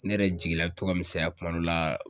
Ne yɛrɛ jigila be to ka misɛnya kuma dɔ la